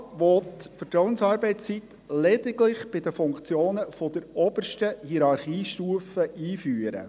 Der Regierungsrat will die Vertrauensarbeitszeit lediglich für die Funktionen der obersten Hierarchiestufe einführen.